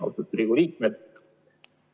Austatud Riigikogu liikmed!